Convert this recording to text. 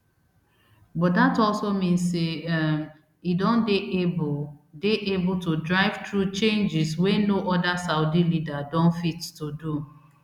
but dat also mean say um e don dey able dey able to drive through changes wey no oda saudi leader don fit to do